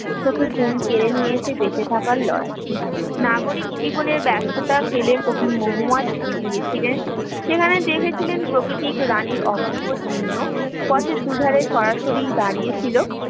ঘুম কেড়ে নিয়েছে বেঁচে থাকার লড়াই নাগরিক জীবনের ব্যস্ততা ফেলে গিয়েছিলেন সেখানে দেখেছিলেন প্রকৃতির অপূর্ব ছিন্ন পথের দুধারে সরাসরি দাঁড়িয়েছিল